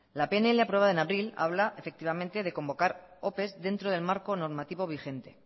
la pnl aprobada en abril habla efectivamente de convocar opes dentro del marco normativo vigente